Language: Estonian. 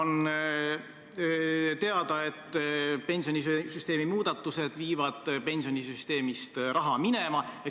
On teada, et pensionisüsteemi muudatused viivad pensionisüsteemist raha minema.